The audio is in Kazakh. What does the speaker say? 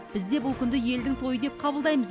біз де бұл күнді елдің тойы деп қабылдаймыз